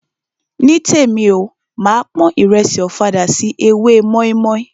Nítèmi o, máa pon ìrẹsì ọ̀fadà sí ewé mọ́ímọ́í.